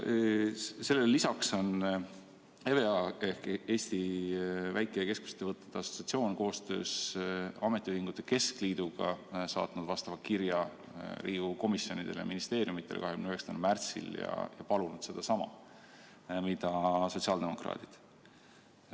Sellele lisaks on EVEA ehk Eesti Väike- ja Keskmiste Ettevõtjate Assotsiatsioon koostöös Eesti Ametiühingute Keskliiduga saatnud vastava kirja Riigikogu komisjonidele ja ministeeriumidele 29. märtsil ja palunud sedasama mida sotsiaaldemokraadid.